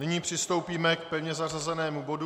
Nyní přistoupíme k pevně zařazenému bodu